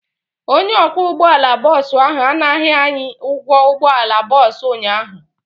Onye ọkwọ ụgbọala bọọsụ ahụ anaghị anyị ụgwọ ụgbọala bọọsụ ụnyaahụ.